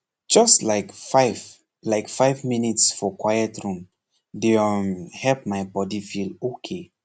just like five like five minutes for quiet room dey um help my body feel okay